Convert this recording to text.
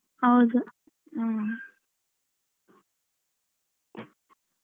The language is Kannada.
ಹೌದು ಹ್ಮ್ .